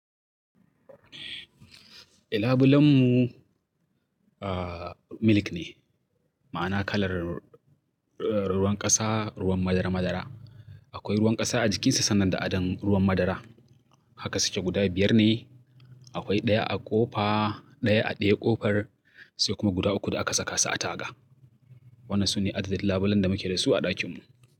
E labulen mu, ah, milk ne. Ma'ana kalar, ruwan ƙasa, ruwan madara madara. Akwai ruwan ƙasa a jikinsa sannan da adon ruwan madara. Haka suke guda biyar ne. Akwai ɗaya a ƙofa, ɗaya a ɗaya ƙofar, sai kuma guda uku da aka saka su a taga. Wannan su ne adadin labulen da muke da su a ɗakin mu.